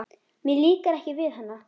Mér líkar ekki við hana.